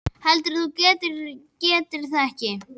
Heldurðu að þú getir þetta ekki?